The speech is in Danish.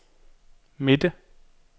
midte